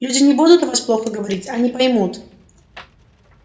люди не будут о нас плохо говорить они поймут